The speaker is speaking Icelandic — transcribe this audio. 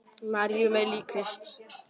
Maríu með lík Krists.